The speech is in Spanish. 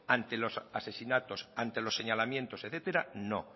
ante los asesinatos ante los señalamientos etcétera no